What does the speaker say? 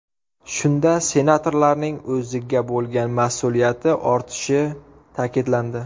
Shunda senatorlarning o‘ziga bo‘lgan mas’uliyati ortishi ta’kidlandi.